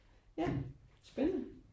Ja spændende